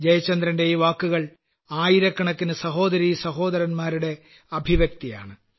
ജയചന്ദ്രന്റെ ഈ വാക്കുകൾ ആയിരക്കണക്കിനു സഹോദരീസഹോദരന്മാരുടെ അഭിപ്രായപ്രകടനമാണ്